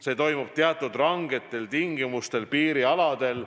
See toimub teatud rangetel tingimustel piirialadel.